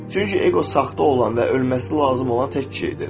Çünki eqo saxta olan və ölməsi lazım olan tək şeydir.